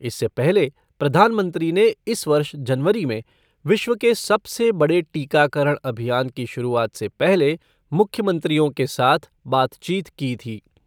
इससे पहले प्रधानमंत्री ने इस वर्ष जनवरी में विश्व के सबसे बड़े टीकाकरण अभियान की शुरूआत से पहले मुख्यमंत्रियों के साथ बातचीत की थी।